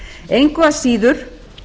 engu að síður